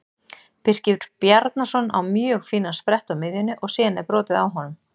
Birkir Bjarnason á mjög fínan sprett á miðjunni og síðan er brotið á honum.